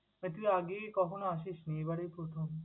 তা তুই আগে কখনো আসিস নি, এবারেই প্রথম?